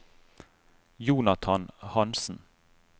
Jonathan Hansen